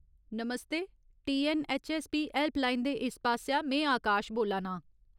नमस्ते ! TNHSP helpline दे इस पासेआ में आकाश बोल्ला नां।